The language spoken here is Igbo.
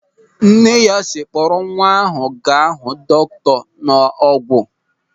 Nne ya sịrị, "Kpọrọ nwa ahụ gaa hụ dọkịta n'Ọ̀gwù!"